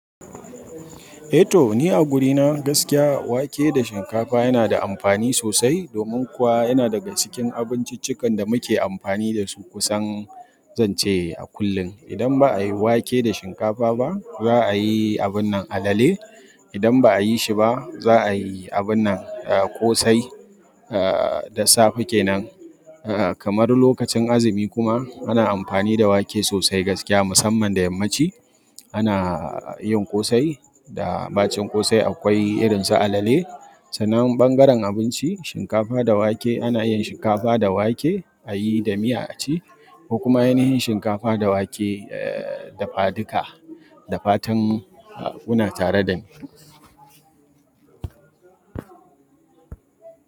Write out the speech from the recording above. Eh to, ni a gurina gaskiya wake da shinkafa yana da amfani sosai domin kuwa yana daga cikin abinciccikan da muke amfani da su kusan zan ce a kullum. Idan ba a yi wake da shinkafa ba, za a yi abun nan alale. Idan ba a yi shi ba, za a yi abun nan, eh, ƙosai, eh, da safe kenan. Eh, kamar lokacin azumi kuma ana amfani da wake sosai gaskiya musamman da yammaci. Ana yin ƙosai da ɓacin ƙosai akwai irin su alale. Sannan ɓangaren abinci, shinkafa da wake ana iya yin shinkafa da wake a yi da miya a ci, ko kuma ai na yin shinkafa da wake, eh, dafaduka da fatan, uhmm, kuna tare da ni.